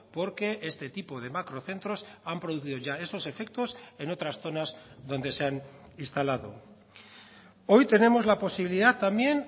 porque este tipo de macrocentros han producido ya esos efectos en otras zonas donde se han instalado hoy tenemos la posibilidad también